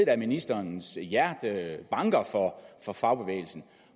at ministerens hjerte banker for fagbevægelsen